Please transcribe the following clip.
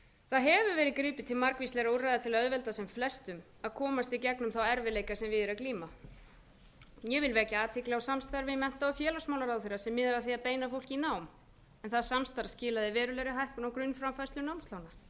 verið gripið til margvíslegra úrræða til að auðvelda sem flestum að komast í gegnum þá erfiðleika sem við er að glíma ég vil vekja athygli á samstarfi mennta og félagsmálaráðherra sem miðar að beina fólki í nám en það samstarf skilar verulegri hækkun á grunnframfærslu námslána enn fremur hefur verið unnið að